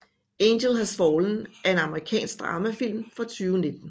Angel Has Fallen er en amerikansk dramafilm fra 2019